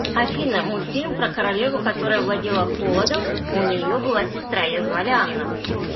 афина мультфильм про королеву которая владела холодам у нее была сестра ее звали анна